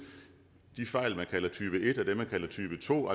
de fejl man kalder type et og dem man kalder type to